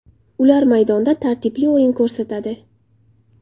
Ular maydonda tartibli o‘yin ko‘rsatadi.